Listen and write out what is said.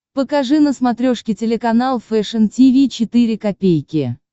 покажи на смотрешке телеканал фэшн ти ви четыре ка